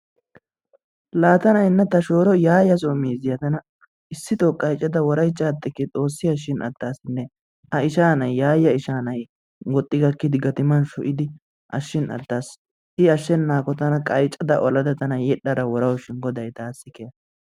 Laa tana ta shooro Yaaya so miizziya issittoo qayccada woraychchada ateke. Xoossi ashiin attaasi a ishaa nay Yaaya ishaa nay woxxi gakkidi gatiman sho'idi ashiin attaas. I asheennaakko tana qayccada olada tana yedhdhada worawu shin goday taasi keha.